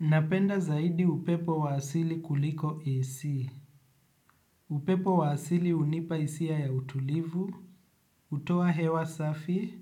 Napenda zaidi upepo wa asili kuliko AC. Upepo wa asili unipa hisia ya utulivu, hutoa hewa safi,